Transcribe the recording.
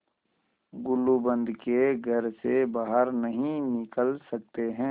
गुलूबंद के घर से बाहर नहीं निकल सकते